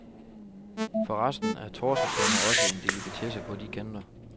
Forresten er torsketunger også en delikatesse på de kanter.